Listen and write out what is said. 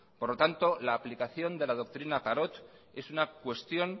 por lo tanto la aplicación de la doctrina parot es una cuestión